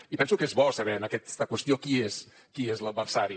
i penso que és bo saber en aquesta qüestió qui és l’adversari